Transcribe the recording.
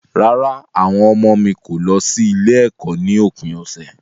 Rárá, àwọn ọmọ mi kò lọ sí ilé-ẹ̀kọ́ ní òpin ọ̀sẹ̀.